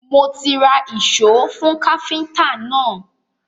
Mo ti ra ìṣó fún káfíntà náà.